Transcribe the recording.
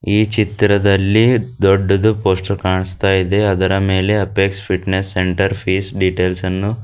ಈ ಚಿತ್ರದಲ್ಲಿ ದೊಡ್ಡದು ಪೋಸ್ಟರ್ ಕಾಣಿಸ್ತಾ ಇದೆ ಅದರ ಮೇಲೆ ಅಪೆಕ್ಸ್ ಫಿಟ್ನೆಸ್ ಸೆಂಟರ್ ಪಿಸ್ ಡೀಟೆಲ್ಸ್ ಅನ್ನು--